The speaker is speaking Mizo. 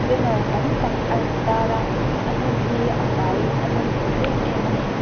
banner tam tak a in tar a a hmun hi a fai in a nawm hmel em em ani.